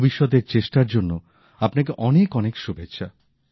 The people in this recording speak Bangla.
ভবিষ্যতের চেষ্টার জন্য আপনাকে অনেক অনেক শুভেচ্ছা